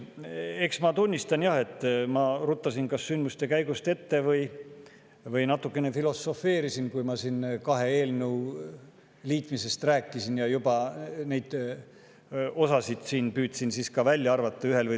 Eks ma tunnistan, jah, et ma kas ruttasin sündmuste käigust ette või natukene filosofeerisin, kui ma siin kahe eelnõu liitmisest rääkisin ja ühest või teisest eelnõust neid osasid püüdsin juba välja arvata.